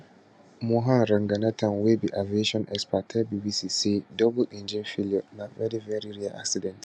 mohan ranganathan wey be aviation expert tell bbc say double engine failure na veri veri rare incident